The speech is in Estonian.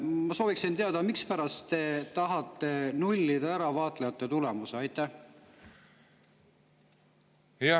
Ma sooviksin teada, mispärast te tahate ära nullida vaatlejate.